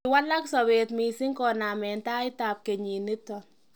kiwalaka sobet mising koname taitab kenyit nito